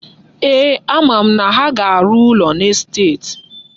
Eeh, ama m na ha ga-arụ ụlọ n'estet.